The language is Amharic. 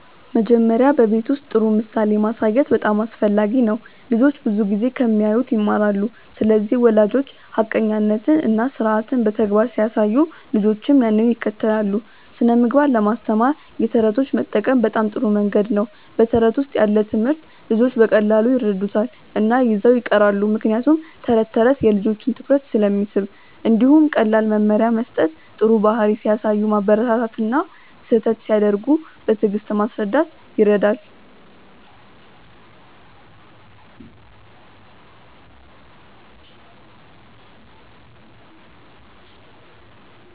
መጀመሪያ በቤት ውስጥ ጥሩ ምሳሌ ማሳየት በጣም አስፈላጊ ነው። ልጆች ብዙ ጊዜ ከሚያዩት ይማራሉ ስለዚህ ወላጆች ሐቀኛነትን እና ስርዓትን በተግባር ሲያሳዩ ልጆችም ያንን ይከተላሉ። ስነ ምግባር ለማስተማር የተረቶች መጠቀም በጣም ጥሩ መንገድ ነው በተረት ውስጥ ያለ ትምህርት ልጆች በቀላሉ ይረዱታል እና ይዘው ይቀራሉ ምክንያቱም ተረት ተረት የልጆችን ትኩረት ስለሚስብ። እንዲሁም ቀላል መመሪያ መስጠት ጥሩ ባህሪ ሲያሳዩ ማበረታታት እና ስህተት ሲያደርጉ በትዕግስት ማስረዳት ይረዳል።